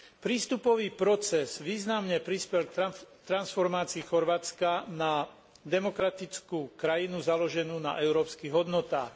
Prístupový proces významne prispel k transformácii Chorvátska na demokratickú krajinu založenú na európskych hodnotách.